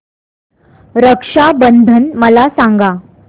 रक्षा बंधन मला सांगा